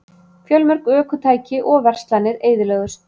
Fjölmörg ökutæki og verslanir eyðilögðust